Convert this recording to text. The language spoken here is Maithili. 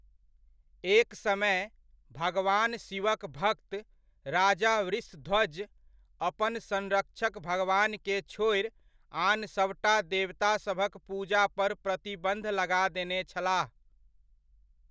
एक समय, भगवान शिवक भक्त राजा वृषध्वज अपन संरक्षक भगवान के छोड़ि, आन सभटा देवतासभक पूजा पर प्रतिबन्ध लगा देने छलाह।